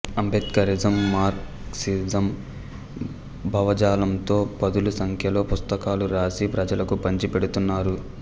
Ambedkarism Marxism భావజాలంతో పదుల సంఖ్యలో పుస్తకాలు రాసి ప్రజలకు పంచి పెడుతున్నారు